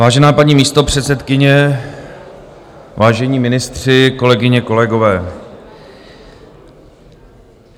Vážená paní místopředsedkyně, vážení ministři, kolegyně, kolegové.